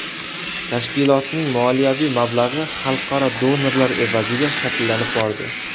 Tashkilotning moliyaviy mablag‘i xalqaro donorlar evaziga shakllanib bordi.